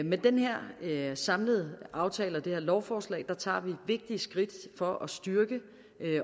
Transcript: med den her samlede aftale og det her lovforslag tager vi vigtige skridt for at styrke